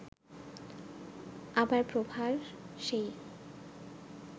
আবার প্রভার সেই